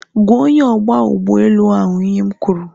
Gwaa onye ogba ugboelu ahu ihe m kwuru